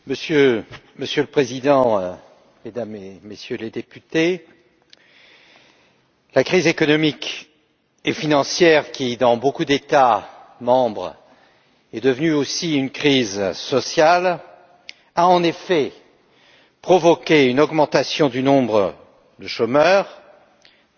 Monsieur le Président, Mesdames et Messieurs les Députés, la crise économique et financière qui, dans beaucoup d'États membres, est devenue aussi une crise sociale, a provoqué une augmentation du nombre de chômeurs même si